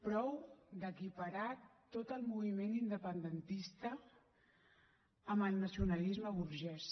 prou d’equiparar tot el moviment independentista amb el nacionalisme burgès